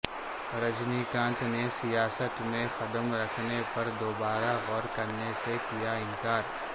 رجنی کانت نے سیاست میں قدم رکھنے پر دوبارہ غور کرنے سے کیا انکار